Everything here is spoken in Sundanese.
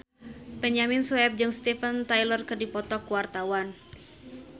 Benyamin Sueb jeung Steven Tyler keur dipoto ku wartawan